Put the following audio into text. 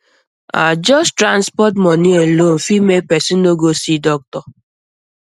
ah just transport um money alone fit make person no go see doctor